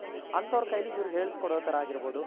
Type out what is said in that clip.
ಅಂತವರ ಕೈಲ್ಲಿ ಇವರ್ ಹೇಳ್ಸ್ ಕೊಡೊ ತರ ಆಗಿರ್ಬೋದು